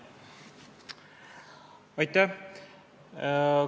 Aitäh!